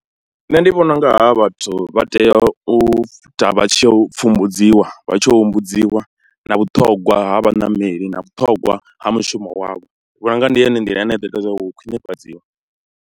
Nṋe ndi vhona u nga havha vhathu vha tea u ita vha tshi ya u pfhumbudziwa, vha tshi humbudziwa na vhuṱhongwa ha vhaṋameli na vhuṱhogwa ha mushumo wavho. Ndi vhona u nga ndi yone nḓila ine ya ḓo ita zwa uri hu khwinifhadziwe.